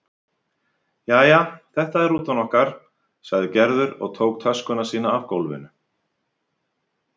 Jæja, þetta er rútan okkar sagði Gerður og tók töskuna sína af gólfinu.